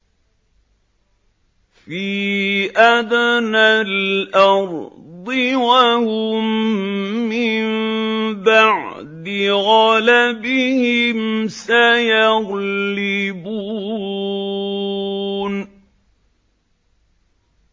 فِي أَدْنَى الْأَرْضِ وَهُم مِّن بَعْدِ غَلَبِهِمْ سَيَغْلِبُونَ